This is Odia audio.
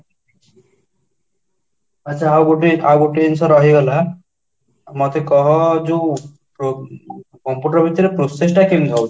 ଆଚ୍ଛା, ଆଉଗୋଟିଏ ଜିନିଷ ରହିଗଲା ମତେ କାହ ଯୋଉ computer ଭିତରେ process ତା କେମିତି ହଉଚି?